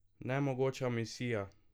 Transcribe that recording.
Nemogoča misija!